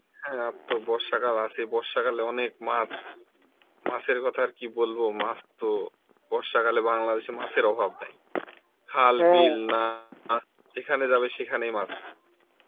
হ্যাঁ আর তো বর্ষাকাল আছে সেই বর্ষাকালে অনেক মাছ, মাছের কথা আর কি বলব মাছ তো বর্ষাকালে মাছের অভাব নেই, খাল না যেখানে যাবে সেখানেই মাছ